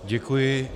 Děkuji.